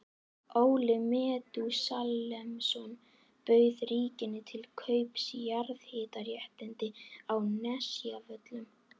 Óli Metúsalemsson bauð ríkinu til kaups jarðhitaréttindi á Nesjavöllum.